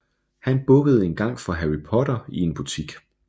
Han bukkede engang for Harry Potter i en butik